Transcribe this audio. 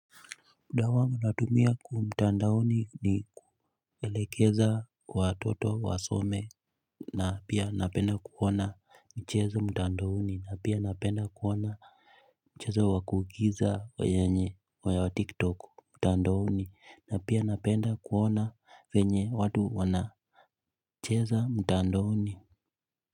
Muda wangu natumia kwa mtandaoni ni kuelekeza watoto wasome na pia napenda kuona mchezo mtandaoni. Na pia napenda kuona mchezo wa kuigiza wa Tiktok mtandaoni. Na pia napenda kuona venye watu wanacheza mtandaoni.